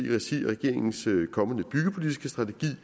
i regi af regeringens kommende byggepolitiske strategi